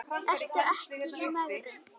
Ertu ekki í megrun?